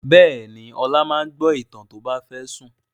Bẹ́ẹ̀ ni, Ọlá máa ń gbọ́ ìtàn tó bá fẹ́ sùn.